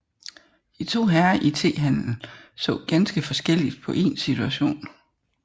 De to herrer i tehandelen så ganske forskelligt på en situation